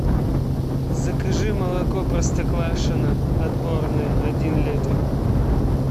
закажи молоко простоквашино отборное один литр